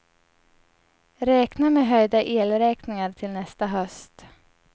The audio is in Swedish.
Räkna med höjda elräkningar till nästa höst.